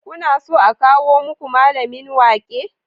Kuna so a kawo muku mallamin waƙe?